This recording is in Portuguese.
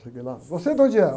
Cheguei lá, você de onde é?